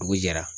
Dugu jɛra